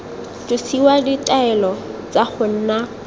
tlosiwa ditaelo tsa go nna